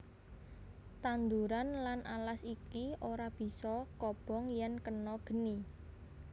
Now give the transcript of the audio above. Tanduran lan alas iki ora bisa kobong yèn kena geni